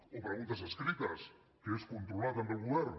o preguntes escrites que és controlar també el govern